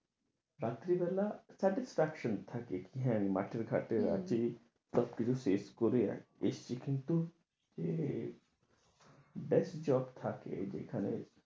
চাকরি বেলা তাতে suction থাকে কি মাঠে ঘাটে আছি, সব কিছু শেষ করে এসেছি, কিন্তু এ best job থাকে, যেখানে